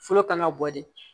Fɔlɔ kan ka bɔ di